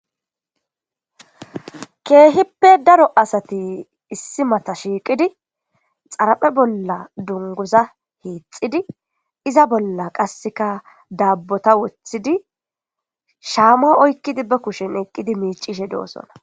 Kehippe darro issi matta shiqidi xariphe bolla duniguza hixidi izza bolla qassi dabbo wothidi baa kushe bolla shama oyikidi miccishe dosona.